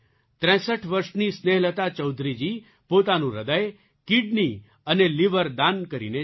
૬૩ વર્ષની સ્નેહલતા ચૌધરીજી પોતાનું હૃદય કિડની અને લિવર દાન કરીને ચાલી ગઈ